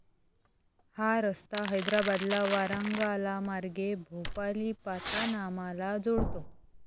हा रस्ता हैद्राबादला वारांगालामार्गे भोपालीपातानामाला जोडतो.